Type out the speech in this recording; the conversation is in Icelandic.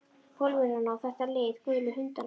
Pólverjana og þetta lið. gulu hundana.